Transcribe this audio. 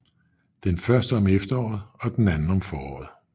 Den første om efteråret og den anden om foråret